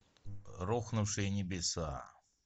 рухнувшие небеса